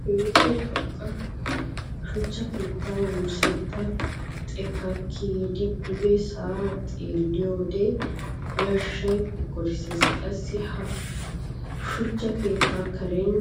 Keehippe xoqqa shuchcha keetta wurssetta xekka kiyiddi duge sa'a xeelliyode yashay kokkorssees. Qassi ha suchcha keetta karen